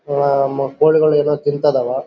ಆ ಕೋಳಿಗಳು ಏನೋ ತಿಂತಾ ಇದಾವ.